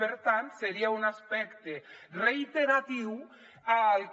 per tant seria un aspecte reiteratiu al que